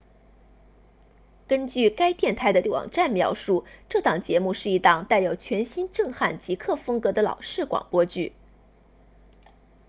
根据该电台的网站描述这档节目是一档带有全新震撼极客风格的老式广播剧